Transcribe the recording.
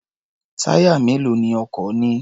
Táyà mélòó ni ọkọ̀ ní?